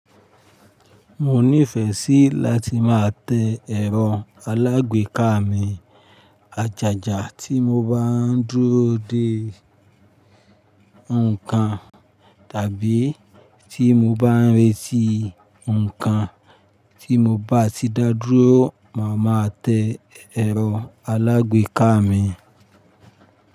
Mo nífẹ̀ẹ́ sí láti máa tẹ ẹ̀rọ alágbèéká mi. Àjàjà tí mo bá ń dúró de ǹkan tàbí tí mo bá ń retí ǹkan tí mo bá ti dá dúró, màá máa tẹ ẹ̀rọ alágbèéká mi.